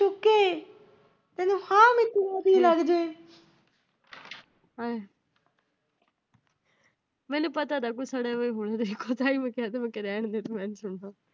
ਮੈਨੂੰ ਪਤਾ ਤਾ ਹੈ, ਕੋਈ ਸੜਿਆ ਜਿਹਾ ਈ ਹੋਣਾ ਤੇਰੇ ਕੋਲ। ਤਾਹੀਓ ਮੈ ਕਿਹਾ ਮੈਂ ਕੀਆ ਰਹਿਣ ਦੇ ਤੂੰ